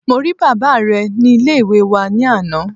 Mo rí bàbá re ni Ilé ìwé wa ní àná